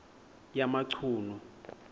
yamachunu